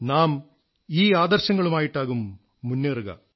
നാം ഈ ആദർശങ്ങളുമായിട്ടാകും മുന്നേറുക